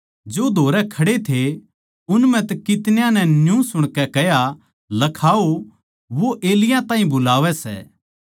जो धोरै खड़े थे उन म्ह तै कितन्याँ नै न्यू सुणकै कह्या लखाओ वो एलिय्याह ताहीं बुलावै सै